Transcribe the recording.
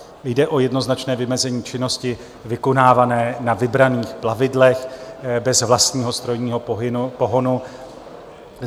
Jde o jednoznačné vymezení činnosti vykonávané na vybraných plavidlech bez vlastního strojního pohonu.